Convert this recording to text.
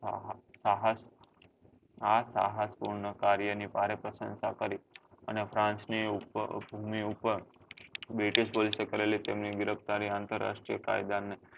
આ સાહસ પૂર્ણ કાર્ય ની ભારે પ્રસંસા કરી અને france ની ઉપ british police ની ભૂમિ ઉપર ચલણી ગિરફ્તારી આંતરરાષ્ટ્રીય કાયદા ને